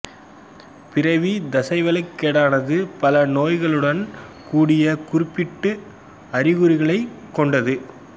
பிறவி தசைவளக்கேடானது பல நோய்களுடன் கூடிய குறிப்பிட்ட அறிகுறிகளை உள்ளடக்கியது